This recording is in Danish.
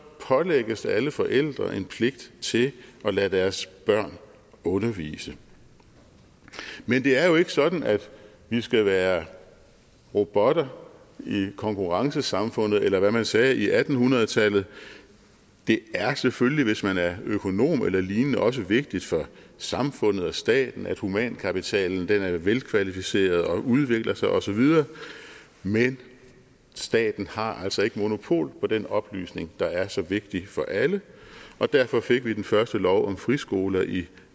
pålægges alle forældre en pligt til at lade deres børn undervise men det er jo ikke sådan at vi skal være robotter i konkurrencesamfundet eller hvad man nu sagde i atten hundrede tallet det er selvfølgelig hvis man er økonom eller lignende også vigtigt for samfundet og staten at humankapitalen er velkvalificeret og udvikler sig og så videre men staten har altså ikke monopol på den oplysning der er så vigtig for alle og derfor fik vi den første lov om friskoler i